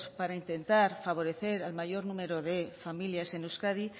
para intentar favorecer al mayor número de familias en euskadi